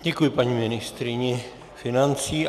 Děkuji paní ministryni financí.